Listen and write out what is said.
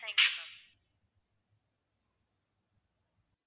thank you ma'am